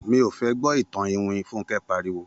Mi ò fẹ́ gbọ́ ìtàn iwin!, Fúnkẹ́ pariwo